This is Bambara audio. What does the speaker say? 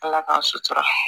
Ala k'a sutura